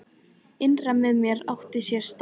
Innra með mér átti sér stað barátta.